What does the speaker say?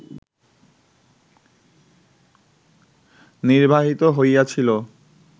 নির্বাহিত হইয়াছিল